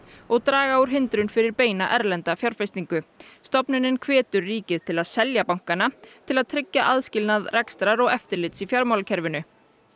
og draga úr hindrunum fyrir beina erlenda fjárfestingu stofnunin hvetur ríkið til að selja bankana til að tryggja aðskilnað rekstrar og eftirlits í fjármálakerfinu